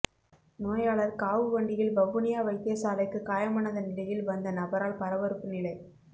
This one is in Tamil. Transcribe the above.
நோயாளர் காவு வண்டியில் வவுனியா வைத்தியசாலைக்கு காயமடைந்த நிலையில் வந்த நபரால் பரபரப்பு நிலை